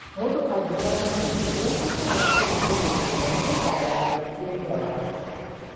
Mũndũ angĩrũara mahĩndĩ, nĩ abataraga kũrũmbũiyo na ihenya nĩgetha ndagaathũkie wĩra wake.